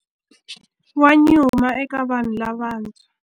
Wa nyuma eka vanhu lavantshwa.